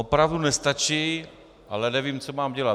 Opravdu nestačí, ale nevím, co mám dělat.